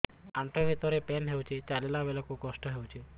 ଆଣ୍ଠୁ ଭିତରେ ପେନ୍ ହଉଚି ଚାଲିଲା ବେଳକୁ କଷ୍ଟ ହଉଚି